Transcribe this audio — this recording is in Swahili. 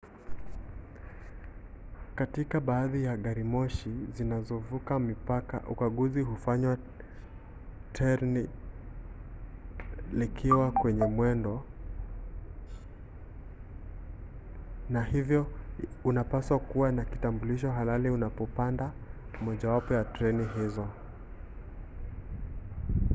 katika baadhi ya garimoshi zinazovuka mipaka ukaguzi hufanywa terni likiwa kwenye mwendo na hivyo unapaswa kuwa na kitambulisho halali unapopanda mojawapo ya treni hizo